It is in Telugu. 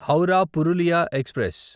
హౌరా పురులియా ఎక్స్ప్రెస్